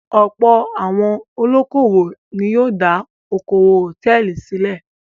Ọ̀pọ̀ àwọn olókòwò ni yóò dá okòwò hòtẹ́ẹ́lì sílẹ̀.